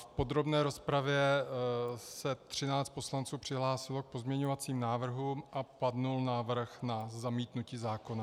V podrobné rozpravě se třináct poslanců přihlásilo k pozměňovacím návrhům a padl návrh na zamítnutí zákona.